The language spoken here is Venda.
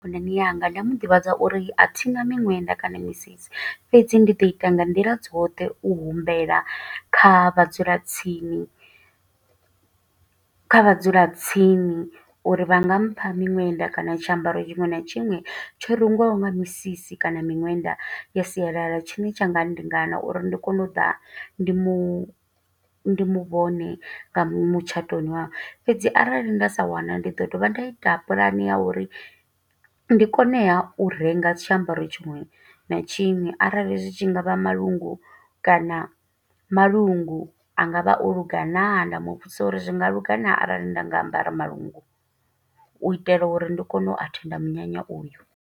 Khonani yanga, nda mu ḓivhadza uri a thina miṅwenda kana misisi. Fhedzi ndi ḓo ita nga nḓila dzoṱhe u humbela kha vhadzulatsini, kha vhadzulatsini. Uri vha nga mpha miṅwenda kana tshiambaro tshiṅwe na tshiṅwe, tsho rengiwaho nga misisi kana miṅwenda ya sialala. Tshine tsha nga ndingana uri ndi kone u ḓa, ndi mu mu vhone nga mutshatoni wawe. Fhedzi arali nda sa wana ndi ḓo dovha nda ita pulane ya uri, ndi koneha u renga tshiambaro tshiṅwe na tshiṅwe. Arali zwi tshi ngavha malungu kana maḽungu a nga vha o luga naa. Nda mudzisa uri zwi nga luga naa, arali nda nga ambara malungu. U itela uri ndi kone u athenda munyanya uyo.